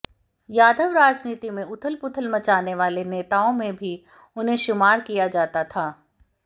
यादव राजनीति में उथलपुथल मचाने वाले नेताओं में भी उन्हें शुमार किया जाता था